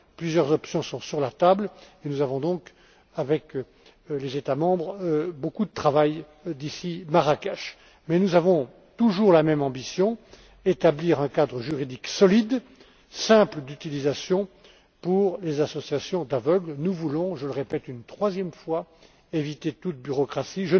Plusieurs options sont sur la table et il nous reste donc avec les États membres beaucoup de travail d'ici Marrakech. Mais nous avons toujours la même ambition, à savoir établir un cadre juridique solide, simple d'utilisation, pour les associations d'aveugles. Nous voulons, je le répète une troisième fois, éviter toute bureaucratie.